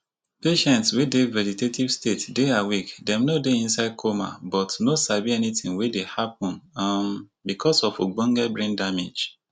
patients wey dey vegetative state dey awake dem no dey inside coma but no sabi anytin wey dey happun um bicos of ogbonge brain damage